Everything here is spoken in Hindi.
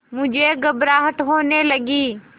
मुझे घबराहट होने लगी